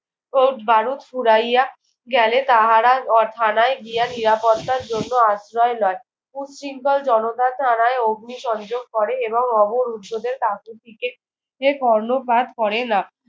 বারুদ ফুরাইয়া গেলে তাহারা আহ থানায় গিয়া নিরাপত্তার জন্য আশ্রয় লয়। উশৃঙ্খল জনতা থানায় অগ্নিসংযোগ করে এবং অবরুদ্ধদের কাকুতিতে কর্ণপাত করে না।